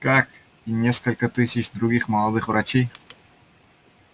как и несколько тысяч других молодых врачей